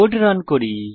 code run করি